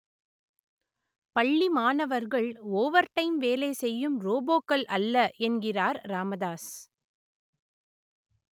பள்ளி மாணவர்கள் ஓவர்டைம் வேலை செய்யும் ரோபோக்கள் அல்ல என்கிறார் ராமதாஸ்